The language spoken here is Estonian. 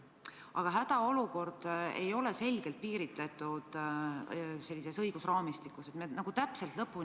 Aga hädaolukord ei ole sellises õigusraamistikus selgelt piiritletud.